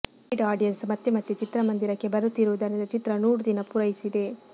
repeat audience ಮತ್ತೆ ಮತ್ತೆ ಚಿತ್ರಮಂದಿರಕ್ಕೆ ಬರುತ್ತಿರುವುದುರಿಂದ ಚಿತ್ರ ನೂರು ದಿನ ಪೂರೈಸಿದೆ